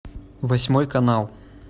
восьмой канал